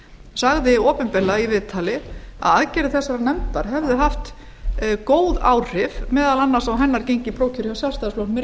sagði opinberlega í viðtali að aðgerðir þessarar nefndar hefðu haft góð áhrif meðal annars á hennar gengi í prófkjöri hjá sjálfstfl í